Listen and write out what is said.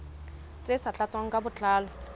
tse sa tlatswang ka botlalo